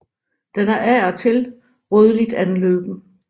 Den er af og til rødligt anløben